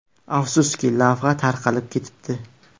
Afsuski, lavha tarqalib ketibdi.